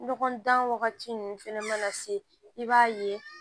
Ɲɔgɔn dan wagati ninnu fɛnɛ ma na se i b'a ye